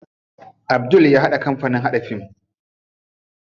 Abdul ya buɗe kampanin haɗa fim.